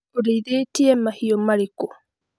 ũrĩithĩtie mahiũ marĩĩkũ?